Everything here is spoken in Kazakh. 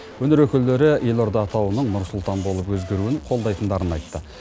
өнер өкілдері елорда атауының нұр сұлтан болып өзгеруін қолдайтындарын айтты